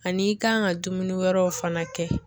Ani i kan ka dumuni wɛrɛw fana kɛ.